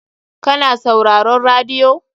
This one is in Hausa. Ka na sauraron radiyo?